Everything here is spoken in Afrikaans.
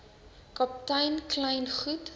kaptein kleyn goed